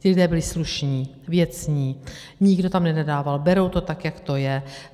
Ti lidé byli slušní, věcní, nikdo tam nenadával, berou to tak, jak to je.